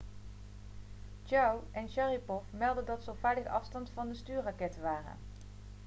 chiao en sharipov meldden dat ze op veilige afstand van de stuurrakketten waren